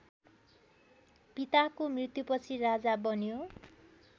पिताको मृत्युपछि राजा बन्यो